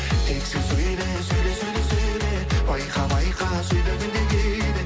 тек сен сөйле сөйле сөйле сөйле байқа байқа сөйлегенде кейде